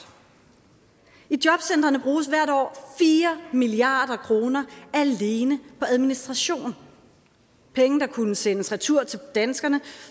i jobcentrene bruges hvert år fire milliard kroner alene på administration penge der kunne sendes retur til danskerne